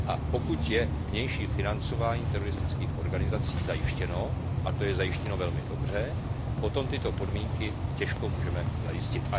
A pokud je vnější financování teroristických organizací zajištěno, a to je zajištěno velmi dobře, potom tyto podmínky těžko můžeme zajistit.